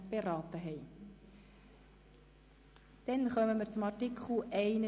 Wir kommen zu Artikel 31d (neu).